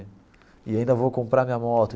E ainda vou comprar a minha moto.